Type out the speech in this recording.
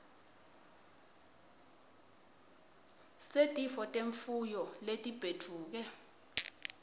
setifo temfuyo letibhedvuke